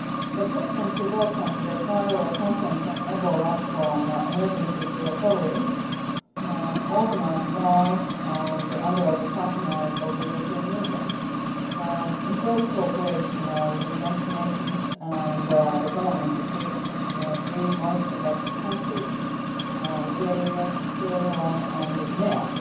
The Presidency welcomes the High Level Conference on Ebola from Emergency to Recovery organised by, and under the patronage of, the European Union, in close cooperation with the United Nations and the governments of the three most affected countries Liberia, Sierra Leone and Guinea.